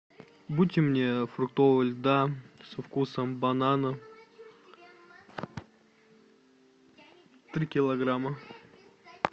будьте мне фруктового льда со вкусом банана три килограмма